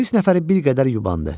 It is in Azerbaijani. Polis nəfəri bir qədər yubandı.